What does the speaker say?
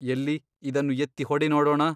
ಎಲ್ಲಿ ಇದನ್ನು ಎತ್ತಿ ಹೊಡೆ ನೋಡೋಣ.